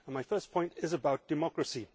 My first point is about democracy.